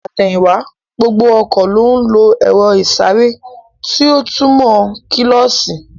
Ní àtẹ̀yìn wá, gbogbo ọkọ̀ ló ń lo èro ìsáré tí ó túmò kílósī